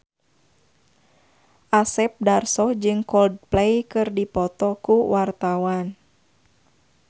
Asep Darso jeung Coldplay keur dipoto ku wartawan